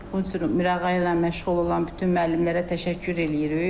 Bunun üçün Mirağa ilə məşğul olan bütün müəllimlərə təşəkkür eləyirik.